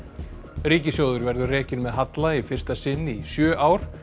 ríkissjóður verður rekinn með halla í fyrsta sinn í sjö ár